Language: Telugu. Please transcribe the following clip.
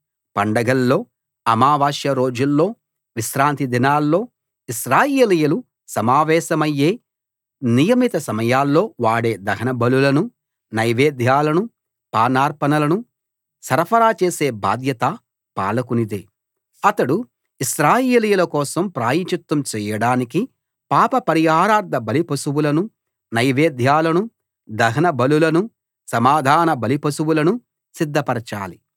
పండగల్లో అమావాస్య రోజుల్లో విశ్రాంతిదినాల్లో ఇశ్రాయేలీయులు సమావేశమయ్యే నియమిత సమయాల్లో వాడే దహనబలులను నైవేద్యాలను పానార్పణలను సరఫరా చేసే బాధ్యత పాలకునిదే అతడు ఇశ్రాయేలీయుల కోసం ప్రాయశ్చిత్తం చేయడానికి పాప పరిహారార్థ బలిపశువులనూ నైవేద్యాలనూ దహనబలులనూ సమాధాన బలిపశువులనూ సిధ్దపరచాలి